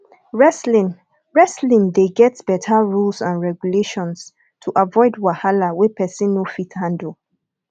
wrestling wrestling de get better rules and reguations to avoid wahala wey persin no fit handle